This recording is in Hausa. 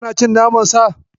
Ka na cin naman Sa?